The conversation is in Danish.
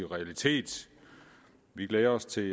realitet vi glæder os til